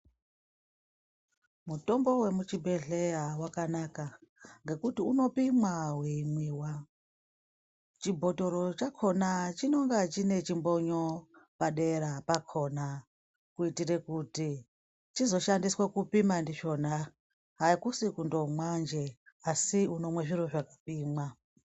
Mutombo wemuchibhedhleya wakanaka ngekuti unopimwa weimwiwa. Chibhotoro chakona chinenge chine chimbonyo padera pakona kuitira kuti chizoshandiswa kupimwa ndichona. Akusi kundomwanje asi unomwa zviro zvakapimwa.